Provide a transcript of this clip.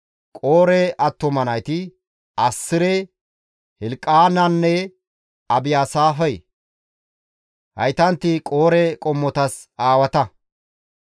Qoore attuma nayti, Assire, Hilqaananne Abiyaasaafe; haytanti Qoore qommotas aawata.